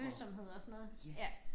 Følsomhed og sådan noget ja